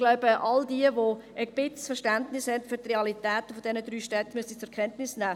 Ich glaube, alle, die ein bisschen Verständnis haben für die Realität dieser drei Städte, müssen dies zur Kenntnis nehmen.